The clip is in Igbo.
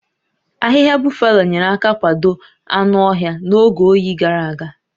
Ahịhịa Buffalo nyere aka kwado anụ ọhịa n'oge oyi gàrà aga